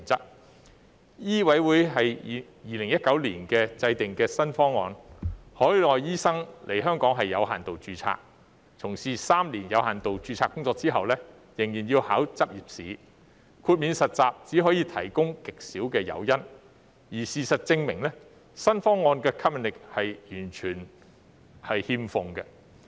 香港醫務委員會在2019年制訂新方案，海外醫生來港屬有限度註冊，從事3年有限度註冊工作後仍要考取執業試，豁免實習只可以提供極少誘因，而事實證明，新方案完全欠吸引力。